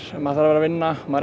maður þarf að vinna maður